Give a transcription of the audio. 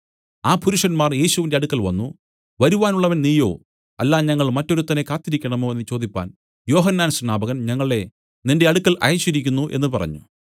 ആ പുരുഷന്മാർ യേശുവിന്റെ അടുക്കൽ വന്നു വരുവാനുള്ളവൻ നീയോ അല്ല ഞങ്ങൾ മറ്റൊരുത്തനെ കാത്തിരിക്കേണമോ എന്നു ചോദിപ്പാൻ യോഹന്നാൻ സ്നാപകൻ ഞങ്ങളെ നിന്റെ അടുക്കൽ അയച്ചിരിക്കുന്നു എന്നു പറഞ്ഞു